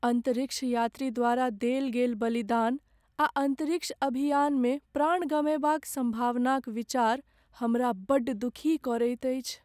अन्तरिक्ष यात्री द्वारा देल गेल बलिदान आ अन्तरिक्ष अभियानमे प्राण गमयबाक सम्भावनाक विचार हमरा बड्ड दुखी करैत अछि।